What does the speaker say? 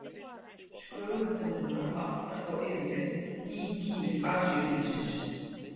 skögultönnina vantar þó yfirleitt í kýr asíufílsins